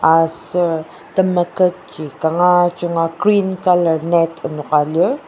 aser temeketji kanga junga green colour net enoka lir.